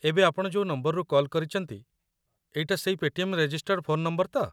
ଏବେ ଆପଣ ଯୋଉ ନମ୍ବରରୁ କଲ୍ କରିଚନ୍ତି ଏଇଟା ସେଇ ପେ'ଟିଏମ୍‌‌ ରେଜିଷ୍ଟର୍ଡ଼ ଫୋନ୍ ନମ୍ବର ତ?